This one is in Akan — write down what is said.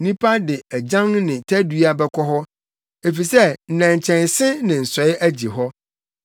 Nnipa de agyan ne tadua bɛkɔ hɔ, efisɛ nnɛnkyɛnse ne nsɔe agye hɔ.